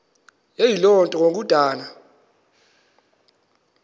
eyiloo nto kukodana